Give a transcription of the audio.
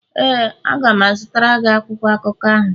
ee, a ga m azụtara gị akwụkwọ akụkọ ahụ.